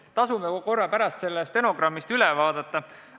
Tasub pärast stenogrammist üle vaadata.